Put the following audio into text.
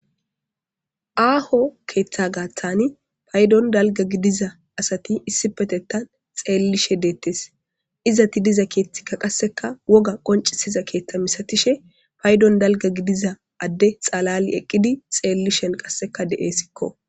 Aaho keeththa gaaththani paydon dalga gidiza asati issipetettan xeellishe deettes izati diza keethtikka qasseka woga qoncisiza keeththa misatishe paydon dalga gidiza adde xalali eqqidi xeellishen qasseka de7essikko.